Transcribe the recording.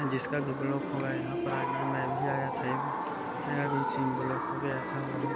जिसका भी ब्लॉक होगा यहाँ पर आ जाना मैं भी आया था एक बार मेरा भी सिम ब्लॉक हो गया था बहुत--